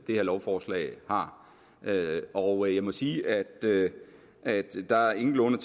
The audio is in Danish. her lovforslag har og jeg må sige at at der ingenlunde